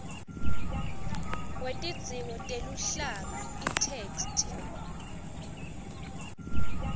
wetidzingo teluhlaka itheksthi